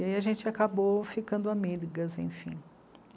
E aí a gente acabou ficando amigas, enfim.